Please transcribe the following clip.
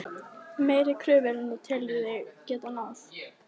Meiri kröfur en þú telur þig geta náð?